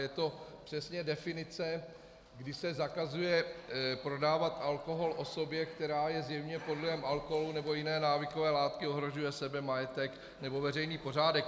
Je to přesně definice, kdy se zakazuje prodávat alkohol osobě, která je zjevně pod vlivem alkoholu nebo jiné návykové látky, ohrožuje sebe, majetek nebo veřejný pořádek.